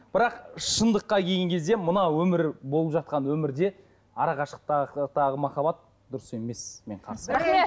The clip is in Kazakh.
бірақ шындыққа келген кезде мына өмір болып жатқан өмірде арақашықтықтағы махаббат дұрыс емес мен қарсы